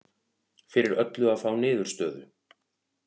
Fyrir öllu að fá niðurstöðu